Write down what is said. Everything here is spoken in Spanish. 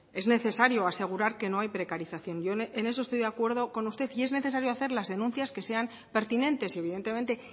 es necesario asegurar que no hay precarización yo en eso estoy de acuerdo con usted y es necesario hacer las denuncias que sean pertinentes y evidentemente